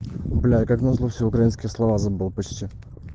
бля как на зло все украинские слова забыл почти